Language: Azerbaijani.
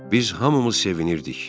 Biz hamımız sevinirdik.